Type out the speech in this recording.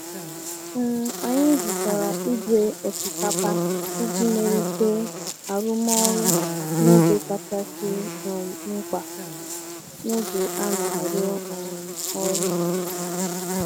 um Anyị zụtara igwe osikapa iji melite arụmọrụ n'oge kachasi um mkpa n'oge a na-arụ um ọrụ.